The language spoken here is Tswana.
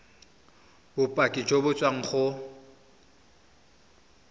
bopaki jo bo tswang go